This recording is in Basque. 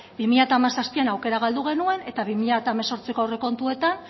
bi mila hamazazpian aukera galdu genuen eta bi mila hemezortziko aurrekontuetan